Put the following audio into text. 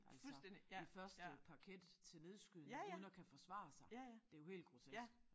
Altså i første parket til nedskydning uden at kan forsvare sig. Det jo helt grotesk